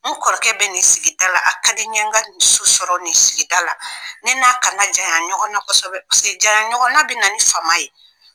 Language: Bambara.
N kɔrɔkɛ bɛ nin sigida la a ka di n ye n ka nin so sɔrɔ nin sigida la ne n'a kana janya ɲɔgɔn na kosɛbɛ janya ɲɔgɔnna bɛ na ni fama ye